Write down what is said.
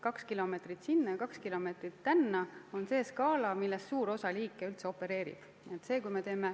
Kaks kilomeetrit sinna ja kaks kilomeetrit tänna on see skaala, milles suur osa liike üldse opereerib.